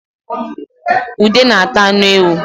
ude na-ata anụ ewu